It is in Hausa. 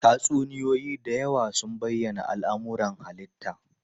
Tatsuniyoyi da yawa suna bayyana al'amuran halitta.